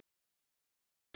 Litla barnið.